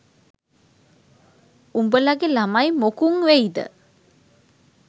උඹලගේ ළමයි මොකුන් වෙයිද